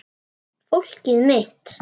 Fólkið mitt.